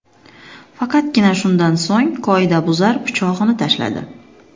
Faqatgina shundan so‘ng qoidabuzar pichog‘ini tashladi.